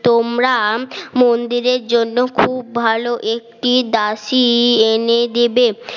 তোমরা মন্দিরের জন্য খুব ভালো একটি দাসী এনে দেবে